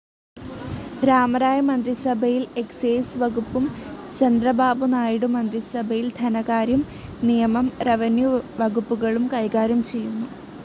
രാമരായ മന്ത്രിസഭയിൽ എക്സൈസ്‌ വകുപ്പും ചന്ദ്രബാബുനായിഡു മന്ത്രിസഭയിൽ ധനകാര്യം, നിയമം, റെവന്യൂ വകുപ്പുകളും കൈകാര്യം ചെയ്തു.